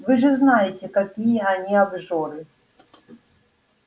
вы же знаете какие они обжоры